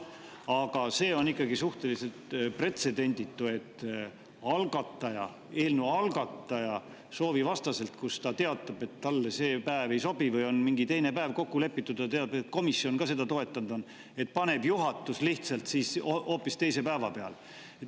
Aga see on ikkagi suhteliselt pretsedenditu, et eelnõu algataja soovi vastaselt – kuigi algataja on teatanud, et talle see päev ei sobi, või on mingi teine päev kokku lepitud ja ka komisjon on seda toetanud – paneb juhatus hoopis teise päeva peale.